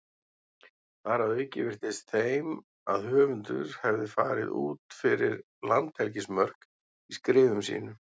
Þar að auki virtist þeim að höfundur hefði farið út fyrir landhelgismörk í skrifum sínum.